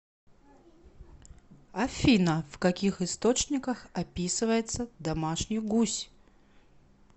афина в каких источниках описывается домашний гусь